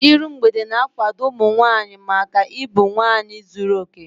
Iru mgbede na-akwado ụmụ nwaanyị maka ịbụ nwaanyị zuru okè.